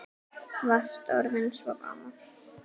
Varst orðinn svo gamall.